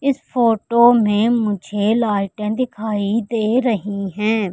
इस फोटो में मुझे लाइटें दिखाई दे रही है।